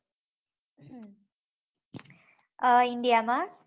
india